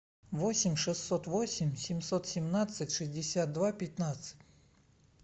восемь шестьсот восемь семьсот семнадцать шестьдесят два пятнадцать